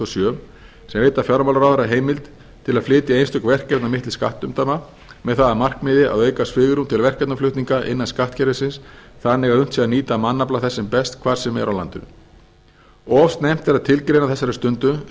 sem veita fjármálaráðherra heimild til flytja einstök verkefni milli skattumdæma með það að markmiði að auka svigrúm til verkefnaflutninga innan skattkerfisins þannig að unnt sé að nýta mannafla þess sem best hvar sem er á landinu of snemmt er að tilgreina á þessari stundu